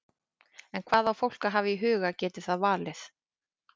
En hvað á fólk að hafa í huga geti það valið?